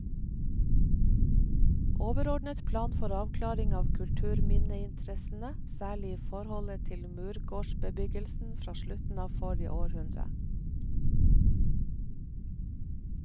Overordnet plan for avklaring av kulturminneinteressene, særlig i forholdet til murgårdsbebyggelsen fra slutten av forrige århundre.